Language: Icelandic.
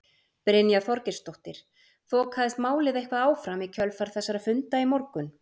Brynja Þorgeirsdóttir: Þokaðist málið eitthvað áfram í kjölfar þessara funda í morgun?